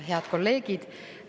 Head kolleegid!